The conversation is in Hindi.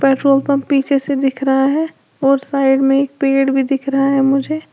पेट्रोल पंप पीछे से दिख रहा है और साइड में एक पेड़ भी दिख रहा है मुझे।